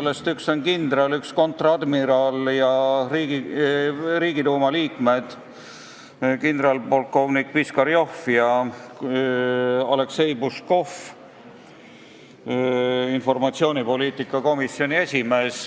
üks kindral, üks kontradmiral ja Riigiduuma liikmed kindralpolkovnik Piskarjov ja Aleksei Puškov, informatsioonipoliitika komisjoni esimees.